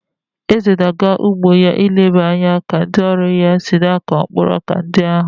Eze na-aga n'ugbo ya ileba anya ka ndị ọrụ ya si na-akụ mkpụrụ ọka ndi ahụ.